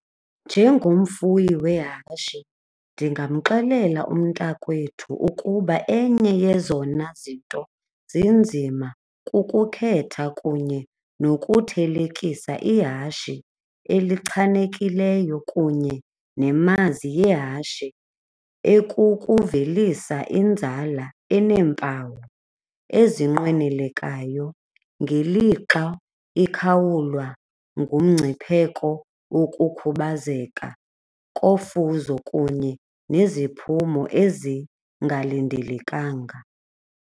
Njengomfuyi wehashi ndingamxelela umntakwethu ukuba enye yezona zinto zinzima kukukhetha kunye nokuthelekisa ihashi elichanekileyo kunye nemazi yehashe ekukuvelisa inzala eneempawu ezinqwenelekayo ngelixa ikhawulwa ngumngcipheko wokukhubazeka kofuzo kunye neziphumo ezingalindelekanga.